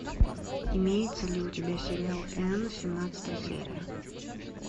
имеется ли у тебя сериал энн семнадцатая серия